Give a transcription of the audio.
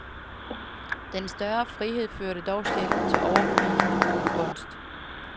Den større frihed førte dog sjældent til overbevisende god kunst.